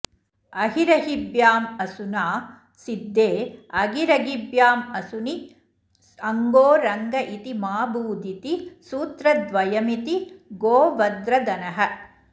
अहिरहिभ्यामसुना सिद्धे अघिरघिभ्यामसुनि अङ्घो रङ्घ इति माभूदिति सूत्रद्वयमिति गोवद्र्धनः